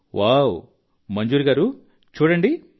ప్రధాన మంత్రి గారు వావ్ మంజూర్ గారూ చూడండి